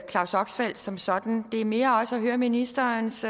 claus oxfelt som sådan det er mere for også at høre ministerens